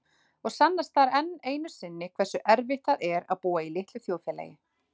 Og sannast þar enn einu sinni hversu erfitt það er að búa í litlu þjóðfélagi.